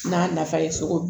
N'a nafa ye cogo min